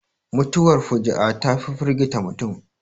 Mutuwar fuji'a ta fi firgita mutum